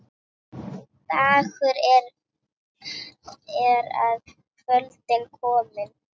Dagur er að kvöldi kominn.